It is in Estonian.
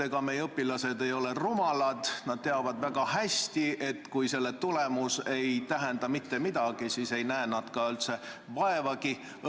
Ega meie õpilased ei ole rumalad: kui nad teavad, et testi tulemus ei tähenda midagi, siis ei näe nad ka õppimisega vaeva.